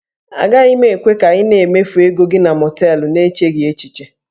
Agaghị m ekwe ka ị na-emefu ego gị na mọọtelụ n'echeghị echiche